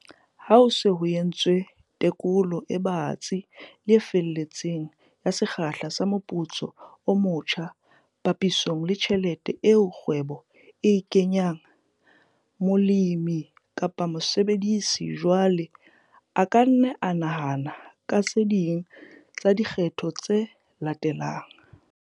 Ha ho se ho entswe tekolo e batsi le e feletseng ya sekgahla sa moputso o motjha papisong le tjhelete eo kgwebo e e kenyang, molemi kapa mosebedisi jwale a ka nna a nahana ka tse ding tsa dikgetho tse latelang.